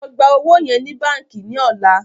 ló gbà ọwo yen ní bánkì ní ọlá!